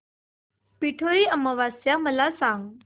पिठोरी अमावस्या मला सांग